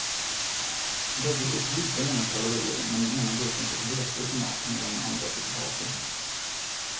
Bägge fick lika många kalorier men den ena gruppen fick vete i sin mat medan den andra fick havre.